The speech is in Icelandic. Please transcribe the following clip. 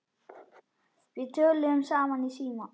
Við töluðum saman í síma.